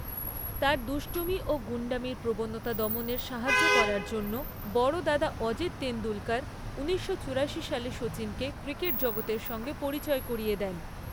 তাঁর দুষ্টুমি ও গুন্ডামির প্রবণতা দমনে সাহায্য করার জন্য বড় দাদা অজিত তেণ্ডুলকর উনিশশো চুরাশি সালে শচীনকে ক্রিকেট জগতের সঙ্গে পরিচয় করিয়ে দেন।